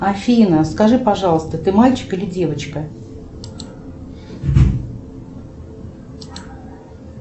афина скажи пожалуйста ты мальчик или девочка